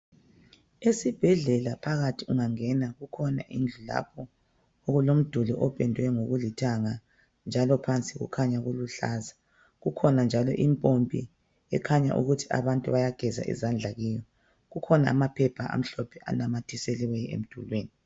Esibhedlela phakathi ungangena kukhona indlu lapho okulomduli opendwe ngokulithanga njalo phansi kukhanya kuluhlaza. Kukhona njalo impompi ekhanya ukuthi abantu bayageza izandla kiyo. Kukhona amaphepha amhlophe anamathiselweyo emdulwini.